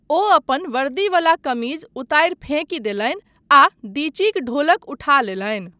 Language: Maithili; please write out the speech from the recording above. ओ अपन वर्दीवला कमीज उतारि फेंकि देलनि आ दिचीक ढोलक उठा लेलनि।